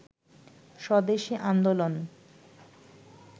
স্বদেশি আন্দোলন